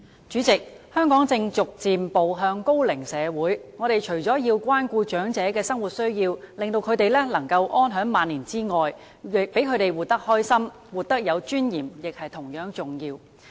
主席，香港正逐漸步向高齡社會，我們除了要關顧長者的生活需要，令他們能夠安享晚年外，讓他們活得開心、活得有尊嚴亦同樣重要。